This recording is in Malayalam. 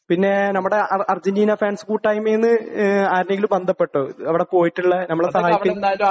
പിന്നെ നമ്മുടെ അർജന്റീന ഫാൻസ്‌ കൂട്ടായ്മയിൽ നിന്ന് ആരൂടെങ്കിലും ബന്ധപ്പെട്ടോ? അവിടെ പോയിട്ടുള്ളെ? നമ്മളെ സഹായിക്കാൻ...